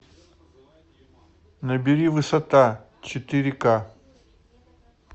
набери высота четыре ка